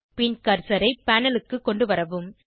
பின் கர்சரை பேனல் க்கு கொண்டுவரவும்